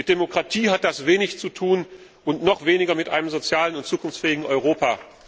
Mit Demokratie hat das wenig zu tun und noch weniger mit einem sozialen und zukunftsfähigen Europa!